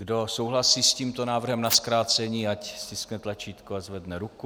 Kdo souhlasí s tímto návrhem na zkrácení, ať stiskne tlačítko a zvedne ruku.